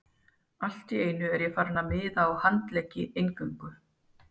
Allt í einu er ég farinn að miða á handleggi eingöngu.